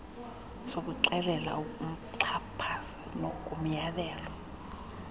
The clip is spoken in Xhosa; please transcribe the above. sokuxelela umxhaphazi ngomyalelo